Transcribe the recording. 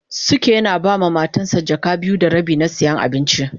Suke yana ba ma Matan sa jaka biyu da rabi na siyan abinci.